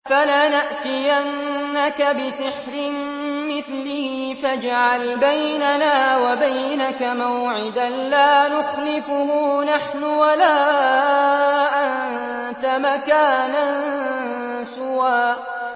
فَلَنَأْتِيَنَّكَ بِسِحْرٍ مِّثْلِهِ فَاجْعَلْ بَيْنَنَا وَبَيْنَكَ مَوْعِدًا لَّا نُخْلِفُهُ نَحْنُ وَلَا أَنتَ مَكَانًا سُوًى